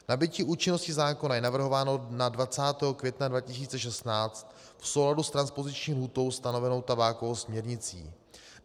Nabytí účinnosti zákona je navrhováno na 20. května 2016 v souladu s transpoziční lhůtou stanovenou tabákovou směrnicí.